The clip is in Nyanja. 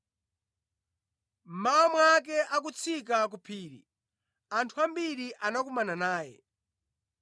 Mmawa mwake, akutsika ku phiri, anthu ambiri anakumana naye.